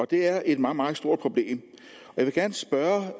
det er et meget meget stort problem jeg vil gerne spørge